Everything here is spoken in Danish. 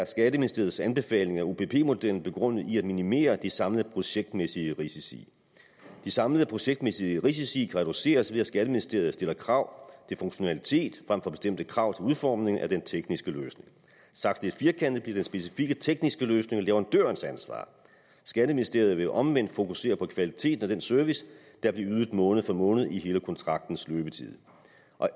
skatteministeriets anbefaling af opp modellen begrundet i at minimere de samlede projektmæssige risici de samlede projektmæssige risici kan reduceres ved at skatteministeriet stiller krav til funktionalitet frem for bestemte krav til udformning af den tekniske løsning sagt lidt firkantet bliver den specifikke tekniske løsning leverandørens ansvar skatteministeriet vil omvendt fokusere på kvaliteten af den service der bliver ydet måned for måned i hele kontraktens løbetid